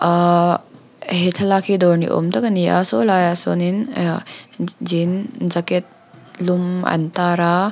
ahhh he thlalak hi dawr ni awm tak ani a saw laiah sawnin eahh je jean jacket lum an tar a.